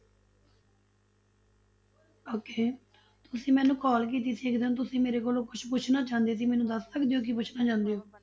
Okay ਤੁਸੀਂ ਮੈਨੂੰ call ਕੀਤੀ ਸੀ ਇੱਕ ਦਿਨ ਤੁਸੀਂ ਮੇਰੇ ਕੋਲੋਂ ਕੁਛ ਪੁੱਛਣਾ ਚਾਹੁੰਦੇ ਸੀ, ਮੈਨੂੰ ਦੱਸ ਸਕਦੇ ਹੋ ਕੀ ਪੁੱਛਣਾ ਚਾਹੁੰਦੇ ਹੋ?